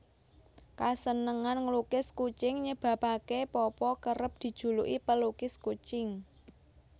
Kasenengan nglukis kucing nyebabaké Popo kerep dijuluki pelukis kucing